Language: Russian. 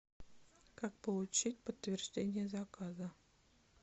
как получить подтверждение заказа